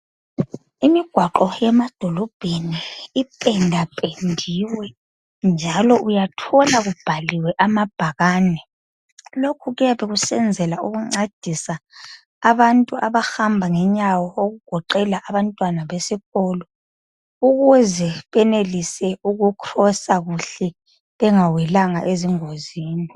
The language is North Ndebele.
Imigwaqo yemadolobheni ipendapendiwe njalo uyathola kubhaliwe amabhakane. Lokhu kuyabe kusenzela ukuncedisa abantu abahamba ngenyawo, okugoqela abantwana besikolo ukuze benelise ukucrosa kuhle bengawelanga ezingozini.